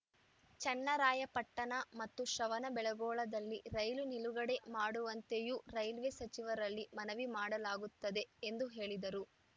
ಚನ್ನರಾಯಪಟ್ಟಣ ಮತ್ತು ಶ್ರಣವಬೆಳಗೊಳದಲ್ಲಿ ರೈಲು ನಿಲುಗಡೆ ಮಾಡುವಂತೆಯೂ ರೈಲ್ವೆ ಸಚಿವರಲ್ಲಿ ಮನವಿ ಮಾಡಲಾಗುತ್ತದೆ ಎಂದು ಹೇಳಿದರು